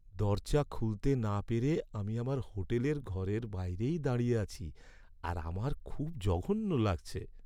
দরজা খুলতে না পেরে আমি আমার হোটেলের ঘরের বাইরেই দাঁড়িয়ে আছি আর আমার খুব জঘন্য লাগছে।